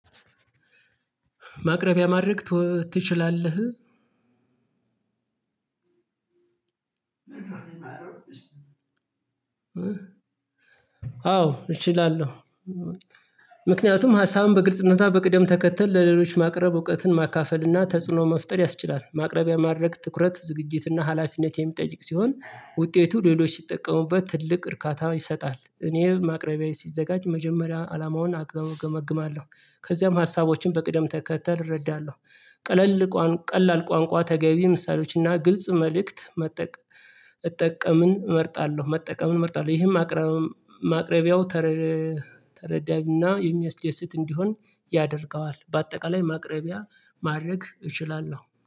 ማቅረቢያ ማድረግ ትችላለህ? አዎ እችላለሁ። ምክንያቱም ሀሳቡን በግልጽነት በቅደም ተከተል ለሌሎች ማቅረብ እውቀትን ማካፈል እና ተጽዕኖ መፍጠር ያስችላል። ማቅረቢያ ማድረግ ትኩረት ዝግጅት እና ሀላፊነት የሚጠጅቅ ሲሆን ውጤቱ ሌሎች ሲጠቀሙበት ትልቅ እርካታ ይሰጣል። እኔ ማቅረቤ ሲዘጋጅ መጀመሪያ አላማውን አገመግማለሁ ከዚያም ሀሳቦችን በቅደም ተከተል እረዳለሁ። ቀለል ቀላል ቋንቋ ተገቢ ምሳሌዎችና ግልጽ መልእክት መጠቅ እጠቀምን እመርጣለሁ መጠቀምን እመርጣለሁ ይሄም ማቅረቢያው ተረዳይና የሚያስደስት እንዲሆን ያደርገዋል። በአጠቃላይ ማቅረቢያ ማድረግ እችላለሁ